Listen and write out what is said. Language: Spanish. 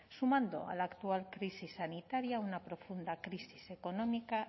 sumando a la actual crisis sanitaria una profunda crisis económica